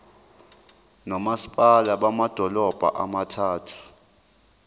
nomasipala bamadolobha abathathu